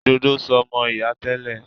Ìdodo so mọ ìyá tẹ́lẹ̀.